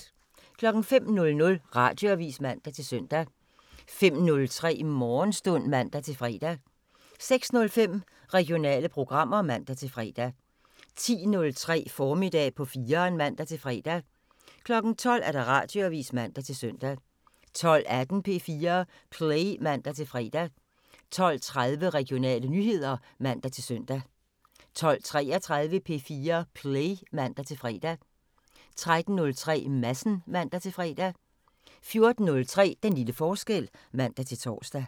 05:00: Radioavisen (man-søn) 05:03: Morgenstund (man-fre) 06:05: Regionale programmer (man-fre) 10:03: Formiddag på 4'eren (man-fre) 12:00: Radioavisen (man-søn) 12:18: P4 Play (man-fre) 12:30: Regionale nyheder (man-søn) 12:33: P4 Play (man-fre) 13:03: Madsen (man-fre) 14:03: Den lille forskel (man-tor)